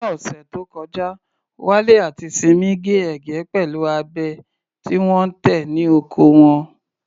Ní ọ̀sẹ̀ tó kọjá, Wale àti Simi gé ẹ̀gẹ́ pẹ̀lú abẹ tí wọ́n tẹ̀ ní oko wọn.